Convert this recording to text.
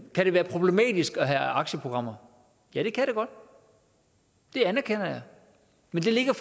kan være problematisk at have aktieprogrammer ja det kan det godt det anerkender jeg men det ligger